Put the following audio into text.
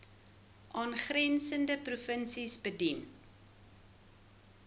aangrensende provinsies bedien